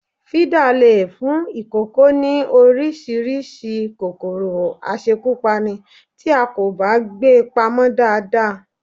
Fídà lè fún ìkòkò ní Oríṣiríṣi kòkòrò àṣẹ́kùpani tí a kò bá gbé pamọ́ dáadáa